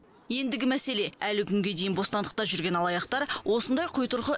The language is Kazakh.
ендігі мәселе әлі күнге дейін бостандықта жүрген алаяқтар осындай құйтырқы